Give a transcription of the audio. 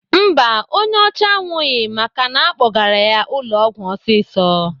Mba, onye ọcha anwụghị maka na-akpọgara ya ụlọ ọgwụ ọsịsọ.